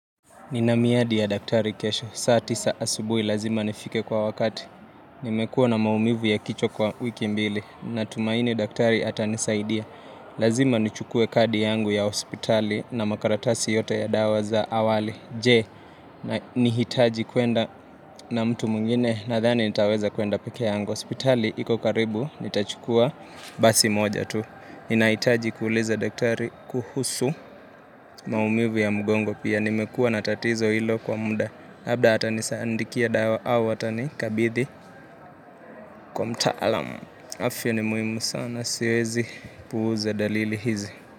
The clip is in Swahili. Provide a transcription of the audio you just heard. Ninamiadi ya daktari kesho. Saa tisa asubuhi lazima nifike kwa wakati. Nimekuwa na maumivu ya kicho kwa wiki mbili. Natumaini daktari ata nisaidia. Lazima nichukue kadi yangu ya hospitali na makaratasi yote ya dawa za awali. Je, ni hitaji kwenda na mtu mwingine na thani nitaweza kwenda peke yangu. Hospitali iko karibu, nitachukua basi moja tu. Ninaitaji kuuliza daktari kuhusu maumivu ya mgongo pia. Nimekua natatizo hilo kwa muda habda hata nisaandikia dawa awa hata nikabithi kwa mtaalam afya ni muhimu sana siwezi puuza dalili hizi.